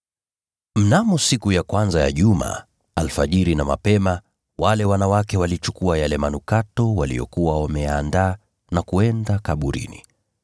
Mnamo siku ya kwanza ya juma, alfajiri na mapema, wale wanawake walichukua yale manukato waliyokuwa wameyaandaa, wakaenda kaburini.